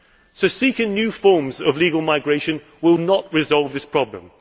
So seeking new forms of legal migration will not resolve this problem.